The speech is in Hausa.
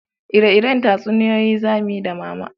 Ire-iren tatsuniyoyi za muyi da mama